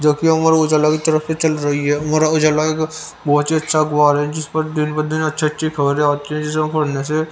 जो की उम्र उजाला की तरफ से चल रही है उम्र उजाला का बहोत ही अच्छा रहा है जिस पर दिन ब दिन अच्छे-अच्छे खबरें आती है जिसे पढ़ने से --